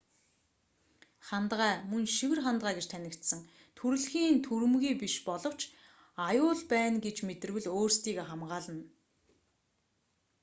хандгай мөн шивэр хандгай гэж танигдсан төрөлхийн түрэмгий биш боловч аюул байна гэж мэдэрвэл өөрсдийгөө хамгаална